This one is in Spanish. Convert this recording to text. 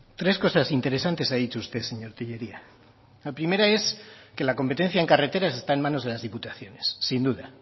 tres cosas interesantes ha dicho usted señor tellería la primera es que la competencia en carreteras está en manos de las diputaciones sin duda